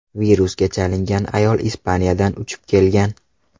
Virusga chalingan ayol Ispaniyadan uchib kelgan.